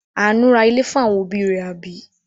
Àánú ra ilé fún àwọn òbí rẹ̀, àbí?